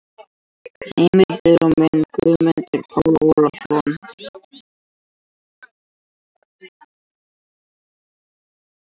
Heimildir og mynd: Guðmundur Páll Ólafsson.